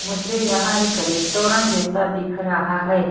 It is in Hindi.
मुझे यहां एक रेस्टोरेंट जैसा दिख रहा ह ।